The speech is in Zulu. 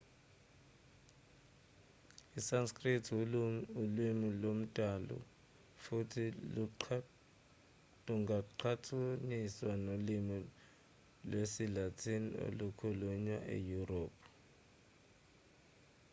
isanskrit ulimi lwamandulo futhi lungaqhathaniswa nolimi lwesilatin olukhulunywa eyurophu